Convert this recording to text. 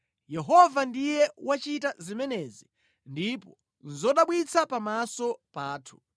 Yehova ndiye wachita zimenezi ndipo nʼzodabwitsa pamaso pathu.